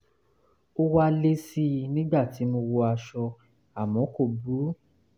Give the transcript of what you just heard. ó wá le sí i nígbà tí mo wọ aṣọ àmọ́ kò burú